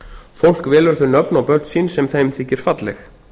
fólk velur þau nöfn á börn sín sem þeim þykir falleg